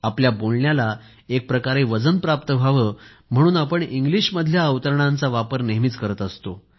आपल्या बोलण्याला एकप्रकारे वजन प्राप्त व्हावं म्हणून आपण इंग्लिशमधल्या अवतरणांचा वापर नेहमीच करत असतो